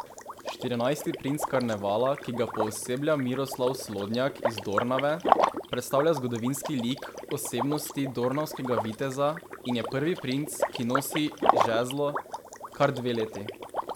Štirinajsti princ karnevala, ki ga pooseblja Miroslav Slodnjak iz Dornave, predstavlja zgodovinski lik osebnosti dornavskega viteza in je prvi princ, ki nosi žezlo kar dve leti.